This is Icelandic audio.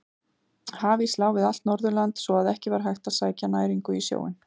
Hafís lá við allt Norðurland svo að ekki var hægt að sækja næringu í sjóinn.